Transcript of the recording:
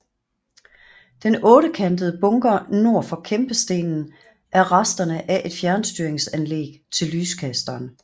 Den ottekantede bunker nord for kæmpestenen er resterne af et fjernstyringsanlæg til lyskasteren